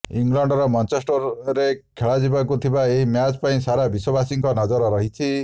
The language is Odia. ଇଂଲଣ୍ଡର ମାଞ୍ଚେଷ୍ଟରରେ ଖେଳାଯିବାକୁ ଥିବା ଏହି ମ୍ୟାଚ ପାଇଁ ସାରା ବିଶ୍ୱବାସୀଙ୍କ ନଜର ରହିଛି